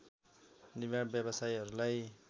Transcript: निर्माण व्यवसायीहरूलाई